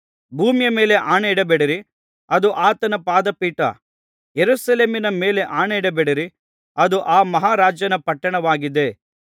ಭೂಮಿಯ ಮೇಲೆ ಆಣೆ ಇಡಬೇಡಿ ಅದು ಆತನ ಪಾದಪೀಠ ಯೆರೂಸಲೇಮಿನ ಮೇಲೆ ಆಣೆ ಇಡಬೇಡಿ ಅದು ಆ ಮಹಾ ರಾಜನ ಪಟ್ಟಣವಾಗಿದೆ